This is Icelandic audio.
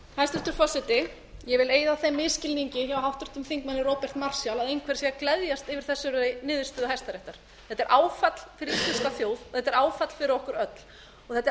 hæstvirtur forseti ég vil eyða þeim misskilningi hjá háttvirtum þingmanni róberti marshall að einhver sé að gleðjast yfir þessari niðurstöðu hæstaréttar þetta er áfall fyrir íslenska þjóð og þetta er áfall fyrir okkur öll þetta er